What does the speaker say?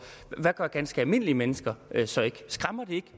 hvad gør ganske almindelige mennesker så ikke skræmmer det ikke